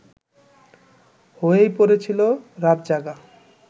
হয়েই পড়েছিল রাতজাগা